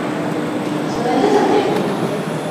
у тебя найдется тельма